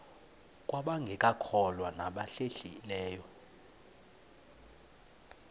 kwabangekakholwa nabahlehli leyo